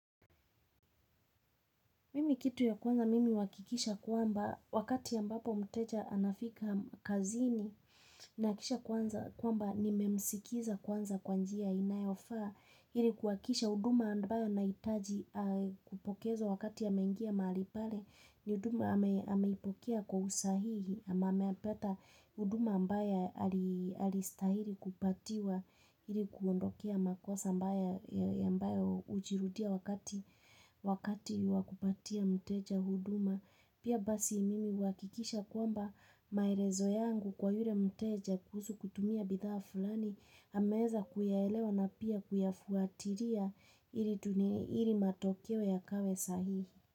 Mimi kitu ya kwanza mimi huhakikisha kwamba wakati ambapo mteja anafika kazini na kisha kwamba nimemsikiza kwanza kwa njia inayofaa. Ili kuhakikisha huduma ambayo anahitaji kupokezwa wakati ameingia mahali pale ni huduma ameipokea kwa usahihi ama ameyapata huduma ambayo alistahili kupatiwa ili kuondokea makosa ambayo, ambayo hujirudia wakati wakati wa kupatia mteja huduma. Pia basi mimi huhakikisha kwamba maelezo yangu kwa yule mteja kuhusu kutumia bidhaa fulani ameweza kuyaelewa na pia kuyafuatilia ili matokeo yawe sahihi.